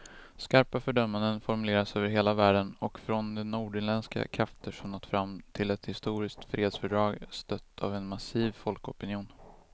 Skarpa fördömanden formuleras över hela världen och från de nordirländska krafter som nått fram till ett historiskt fredsfördrag, stött av en massiv folkopinion.